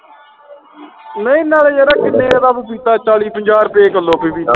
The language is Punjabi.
ਨਹੀਂ ਨਾਲੇ ਯਾਰ ਕਿੰਨੇ ਦਾ ਪਪੀਤਾ ਚਾਲੀ ਪੰਜਾਹ ਰੁਪਏ ਕਿੱਲੋ ਫਿਰ ਵੀ